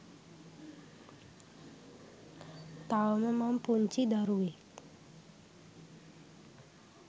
තවම මං පුංචි දරුවෙක්.